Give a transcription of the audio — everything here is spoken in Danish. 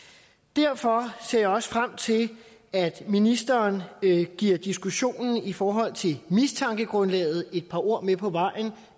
derfor ser jeg også frem til at ministeren giver diskussionen i forhold til mistankegrundlaget et par ord med på vejen